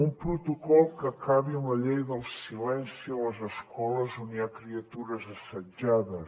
un protocol que acabi amb la llei del silenci a les escoles on hi ha criatures assetjades